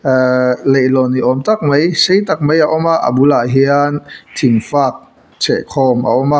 ahh leihlawn ni awm tak mai sei tak mai a awm a a bulah hian thing fak chheh khawm a awm a.